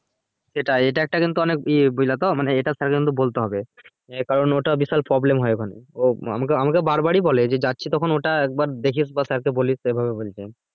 সেটাই এটা একটা কিন্তু অনেক ইয়ে বুঝলে তো মানে এটা sir কে কিন্তু বলতে হবে এর কারণ ওটা বিশাল problem হয়ে ওখানে ও আমাকে আমাকে বার বারি বলে যে যাচ্ছি যখন ওইটা একবার দেখিস বা sir কে বলিস এইভাবে বলছে